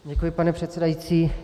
Děkuji, pane předsedající.